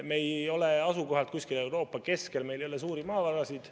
Me ei ole asukoha poolest kusagil Euroopa keskel, meil ei ole maavarasid.